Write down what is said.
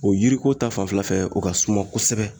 O yiriko ta fanfɛla fɛ o ka suma kosɛbɛ